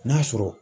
N'a sɔrɔ